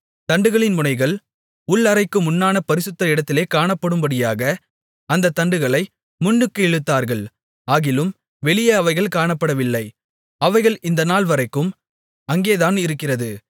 தண்டுகளின் முனைகள் உள் அறைக்கு முன்னான பரிசுத்த இடத்திலே காணப்படும்படியாக அந்தத் தண்டுகளை முன்னுக்கு இழுத்தார்கள் ஆகிலும் வெளியே அவைகள் காணப்படவில்லை அவைகள் இந்த நாள் வரைக்கும் அங்கேதான் இருக்கிறது